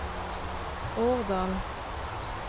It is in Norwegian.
Årdal